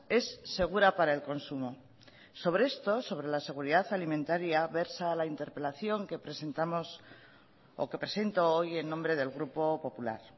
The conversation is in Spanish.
es segura para el consumo sobre esto sobre la seguridad alimentaria versa la interpelación que presentamos o que presento hoy en nombre del grupo popular